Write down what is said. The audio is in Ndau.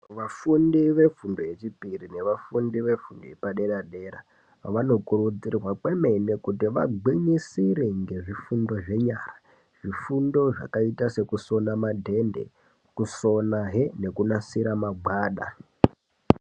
Vafundi vefundo yechipiri nevafundi vefundo yepadera dera vanokurudzirwa kwemene kuti vagwinyisire nezvifundo zvenyara zvifundo zvakaita kusona madhende kusona he nekunasira magwada.